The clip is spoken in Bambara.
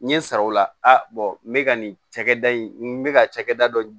N ye n sara o la n bɛ ka nin cakɛda in n bɛ ka cakɛda dɔ